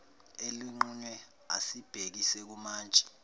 elinqunyiwe asibhekise kumantshi